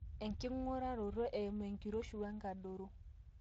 enking'uraroto eimu enkiroshi wenkadoro